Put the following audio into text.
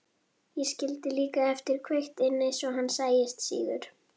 Ég skildi líka eftir kveikt inni svo hann sæist síður.